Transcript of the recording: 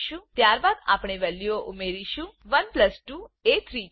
ત્યારબાદ આપણે વેલ્યુઓ ઉમેરીશું 1 પ્લસ 2 એ 3 છે